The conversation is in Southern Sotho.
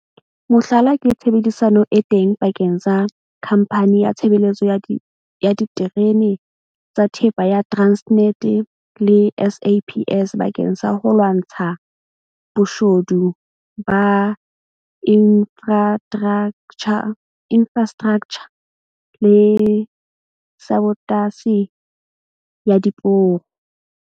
Mohlala ke tshebedisano e teng pakeng tsa Khamphani ya Tshebeletso ya Diterene tsa Thepa ya Transnet le SAPS bakeng sa ho lwantsha boshodu ba infrastraktjha le sabotasi ya diporo.